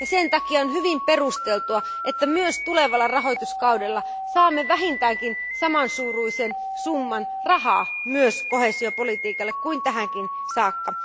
Sen takia on hyvin perusteltua, että myös tulevalla rahoituskaudella saamme vähintäänkin samansuuruisen summan rahaa myös koheesiopolitiikalle, kuin tähänkin saakka.